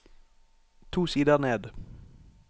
To sider ned